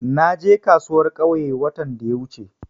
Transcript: Na je kasuwar ƙauye watan da wuce.